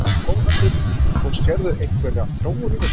Þórhallur: Og sérðu einhverja þróun í þessu?